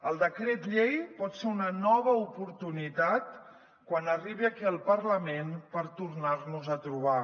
el decret llei pot ser una nova oportunitat quan arribi aquí al parlament per tornar nos a trobar